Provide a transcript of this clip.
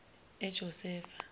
ejosefa